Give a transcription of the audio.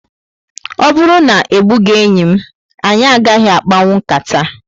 O bụrụ na ebughi enyị m, anyị agaghị akpanwu nkata